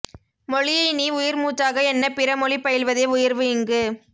மொழியை நீ உயிர்மூச்சாக எண்ண பிற மொழி பயில்வதே உயர்வு இங்கு